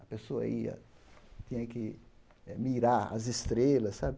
A pessoa ia, tinha que eh mirar as estrelas, sabe?